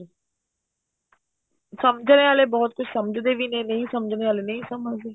ਸਮਝਣੇ ਵਾਲੇ ਬਹੁਤ ਸਮਝਦੇ ਵੀ ਨੇ ਨਹੀਂ ਸਮਝਣੇ ਵਾਲੇ ਨਹੀਂ ਸਮਝਦੇ